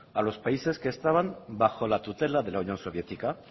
a los países que estaban bajo la tutela de la unión soviética